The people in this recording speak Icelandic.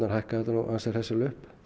hækka þetta ansi hressilega upp